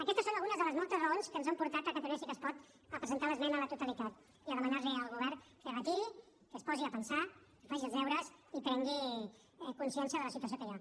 aquestes són algunes de les moltes raons que ens han portat a catalunya sí que es pot a presentar l’esmena a la totalitat i a demanar li al govern que es retiri que es posi a pensar que faci els deures i prengui consciència de la situació que hi ha